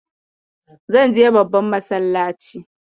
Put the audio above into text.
Zan je babban masallacin.